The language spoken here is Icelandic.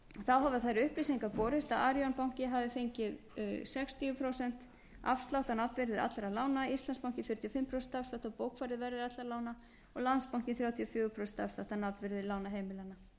hafa þær upplýsingar borist að arion banki hafi fengið sextíu prósent afslátt á nafnvirði allra lána íslandsbanki fjörutíu og fimm prósent afslátt af bókfærðu verði allra lána og landsbankinn þrjátíu og fjögur prósent afslátt af nafnvirði lána heimilanna